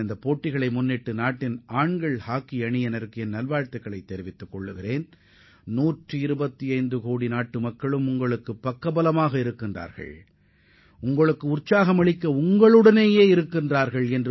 இந்தப் போட்டியில் பங்கேற்கும் இந்திய ஆடவர் அணிக்கு எனது நல்வாழ்த்துக்களை தெரிவிப்பதுடன் 125 கோடி இந்திய மக்களின் ஆதரவு அவர்களுக்கு உண்டு என்பதையும் உறுதிபடக் கூறிக்கொள்கிறேன்